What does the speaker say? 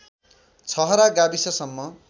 छहरा गाविससम्म